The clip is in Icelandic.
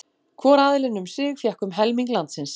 Hvor aðilinn um sig fékk um helming landsins.